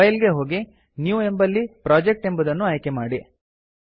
file ಗೆ ಹೋಗಿ new ಎಂಬಲ್ಲಿ ಪ್ರೊಜೆಕ್ಟ್ ಎಂಬುದನ್ನು ಆಯ್ಕೆ ಮಾಡಿ